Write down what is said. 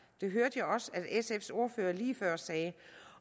det hørte jeg også at sfs ordfører lige før sagde